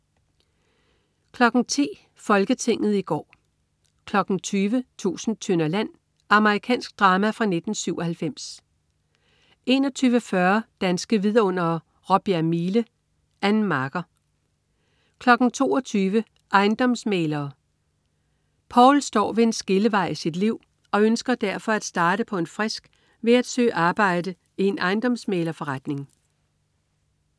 10.00 Folketinget i går 20.00 Tusind tønder land. Amerikansk drama fra 1997 21.40 Danske vidundere: Råbjerg Mile. Ann Marker 22.00 Ejendomsmæglere. Poul. Poul står ved en skillevej i sit liv og ønsker derfor at starte på en frisk ved at søge arbejde i en ejendomsmæglerforretning